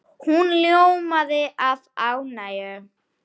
Hún ljómaði af ánægju.